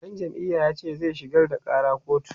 ɗan jam'iyar yace zai shigar da ƙara kotu